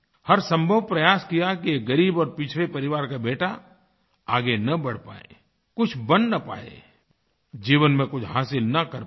हर संभवप्रयास किया कि ग़रीब और पिछड़े परिवार का बेटा आगे न बढ़ पाए कुछ बन न पाए जीवन में कुछ हासिल न कर पाए